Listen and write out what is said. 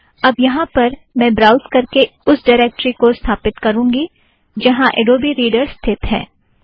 अब यहाँ पर मैं ब्राउज़ करके उस ड़िरेक्टरी को स्थापित करूँगी जहाँ अड़ोबी रीड़र स्थित है